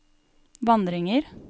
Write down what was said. vandringer